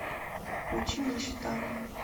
включи нищета